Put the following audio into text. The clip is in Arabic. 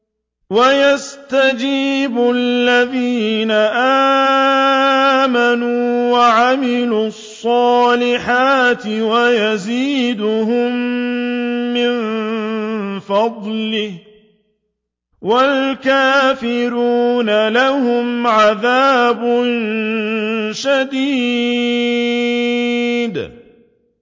وَيَسْتَجِيبُ الَّذِينَ آمَنُوا وَعَمِلُوا الصَّالِحَاتِ وَيَزِيدُهُم مِّن فَضْلِهِ ۚ وَالْكَافِرُونَ لَهُمْ عَذَابٌ شَدِيدٌ